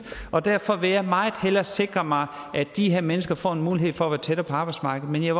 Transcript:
og derfor vil jeg meget hellere sikre mig at de her mennesker får en mulighed for at være tættere på arbejdsmarkedet men jeg